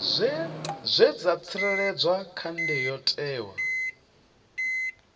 zwe dza tsireledzwa kha ndayotewa